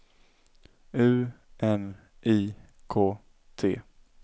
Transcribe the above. U N I K T